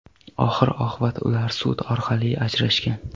Oxir-oqibat ular sud orqali ajrashgan.